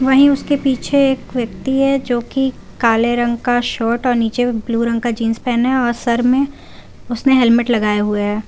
वही उसके पीछे एक व्यक्ति है जो कि काले रंग का शर्ट और नीचे ब्लू रंग का जींस पहने और सर में उसने हेलमेट लगाए हुए हैं।